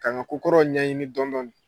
K'an ka ko kɔrɔw ɲɛɲini dɔn dɔɔni.